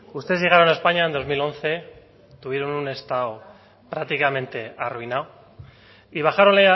ustedes llegaron a españa en dos mil once tuvieron un estado prácticamente arruinado y bajaron